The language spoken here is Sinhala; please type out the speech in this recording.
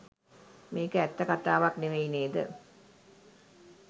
මේක ඇත්ත කතාවක් නෙමෙයි නේද?